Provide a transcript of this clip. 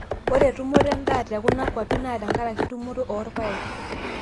ore tumoto edaa te kuna kuapi naa tenkaraki tumoto oorpaek